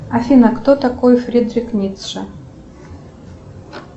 афина кто такой фридрих ницше